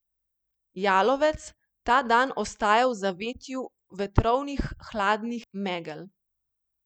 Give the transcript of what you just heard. Jalovec ta dan ostaja v zavetju vetrovnih hladnih megel.